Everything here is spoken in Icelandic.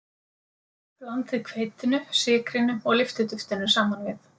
Blandið hveitinu, sykrinum og lyftiduftinu saman við.